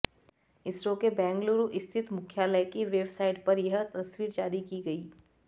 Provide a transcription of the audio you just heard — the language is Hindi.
इसरो के बेंगलूरू स्थित मुख्यालय की वेबसाइट पर यह तस्वीर जारी की गयी